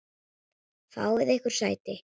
Fáið yður sæti.